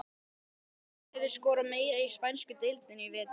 Hvor þeirra hefur skorað meira í spænsku deildinni í vetur?